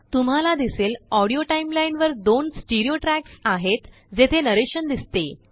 तुम्हाला दिसेलAudio टाइमलाईन वरदोनस्टीरियो ट्रयाक्स आहेत जेथेनरेशनदिसते